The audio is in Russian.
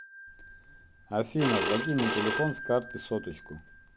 афина закинь на телефон с карты соточку